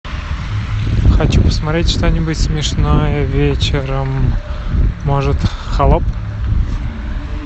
хочу посмотреть что нибудь смешное вечером может быть холоп